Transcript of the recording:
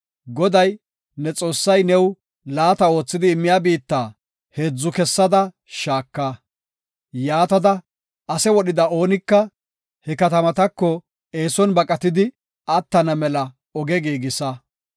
Goday, ne Xoossay new laata oothidi immiya biitta heedza kessada shaaka. Yaatada ase wodhida oonika he katamatako eeson baqatidi attana mela oge giigisa.